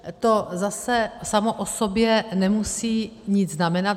To zase samo o sobě nemusí nic znamenat.